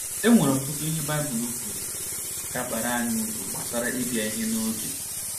E nwere ọtụtụ ihe Baịbụl kwuru ga - abara anyị uru gbasara ịbịa ihe n’oge.